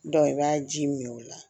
i b'a ji min o la